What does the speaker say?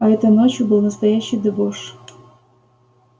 а этой ночью был настоящий дебош